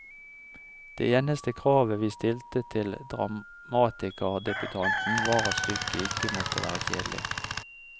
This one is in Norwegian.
Det eneste kravet vi stilte til dramatikerdebutanten var at stykket ikke måtte være kjedelig.